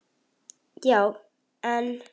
Já, en.